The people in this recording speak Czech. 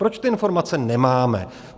Proč ty informace nemáme?